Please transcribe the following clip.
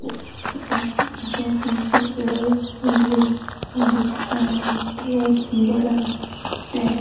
और सुगापंछी कलर भी दिख रहा हैं फोटो बहुत बड़ा है |